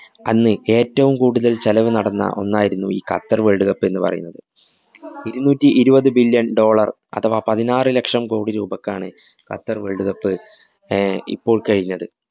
അന്ന് ഏറ്റവും കൂടുതല്‍ ചെലവു നടന്ന ഒന്നായിരുന്നു ഈ ഖത്തര്‍ world cup എന്നുപറയുന്നത്. ഇരുനൂറ്റി ഇരുപതു billion dollar അഥവാ പതിനാറ് ലക്ഷം കോടി രൂപക്കാണ് ഖത്തര്‍ world cup അഹ് ഇപ്പോള്‍ കഴിഞ്ഞത്.